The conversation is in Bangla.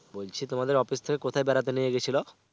বলছি তোমাদের office থেকে কোথায় বেড়াতে নিয়ে গেছিলো?